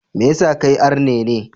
Me yasa kai arne ne?